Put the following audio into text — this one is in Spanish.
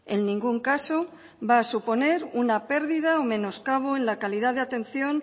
en ningún caso va a suponer una pérdida o menoscabo en la calidad de atención